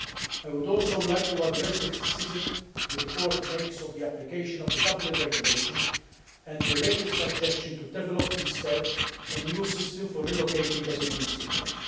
I would also like to address the criticism the report makes of the application of the Dublin Regulation, and the related suggestion to develop instead an EU system for relocating asylum seekers.